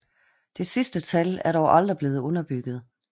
Det sidste tal er dog aldrig blevet underbygget